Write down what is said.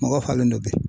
Mɔgɔ falen don bi